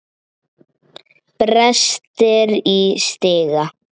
Brestir í stiga.